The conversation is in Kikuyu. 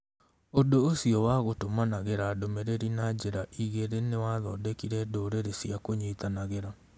Ũndũ ũcio wa gũtũmanagĩra ndũmĩrĩri na njĩra igĩrĩ nĩ wathondekire ndũrĩrĩ cia kũnyitanagĩra.